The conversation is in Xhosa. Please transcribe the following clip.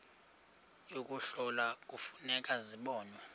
yokuhlola kufuneka zibonwe